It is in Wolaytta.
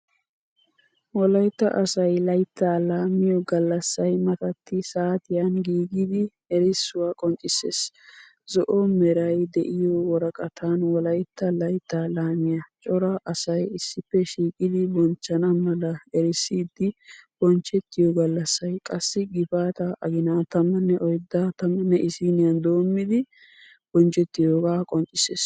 Wolaiyta asaayi laayita laammiyo gaallassay maatati saatiyan giigida erissuwa qonccisees. Zo'o meerayi de'iyo wooraqatan wolayita laayitta laamiya cora asayi issippe shiiqidi boonchchanna maala eriisidi bonchetiyo gallaassayi qaasi gifaata agiina14 11 doommidi bonchetiyooga qoonccisees.